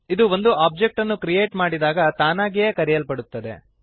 ಇದು ಒಂದು ಒಬ್ಜೆಕ್ಟ್ ಅನ್ನು ಕ್ರಿಯೇಟ್ ಮಾಡಿದಾಗ ತಾನಾಗಿಯೇ ಕರೆಯಲ್ಪಡುತ್ತದೆ